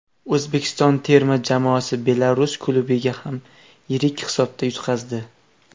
O‘zbekiston terma jamoasi Belarus klubiga ham yirik hisobda yutqazdi.